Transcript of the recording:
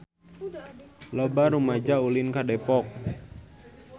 Loba rumaja ulin ka Depok